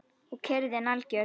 Og kyrrðin algjör.